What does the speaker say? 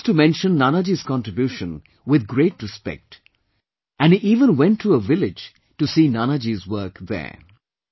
He used to mention Nanaji's contribution with great respect and he even went to a village to see Nanaji's work there